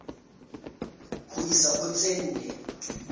ho isa ho tse nne